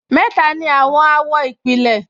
Mẹ́ta ni àwọn àwọ̀ ìpìlẹ̀